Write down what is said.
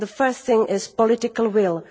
The first thing is political will.